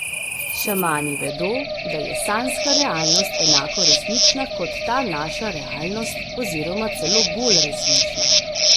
Šamani vedo, da je sanjska realnost enako resnična kot ta naša realnost oziroma celo bolj resnična.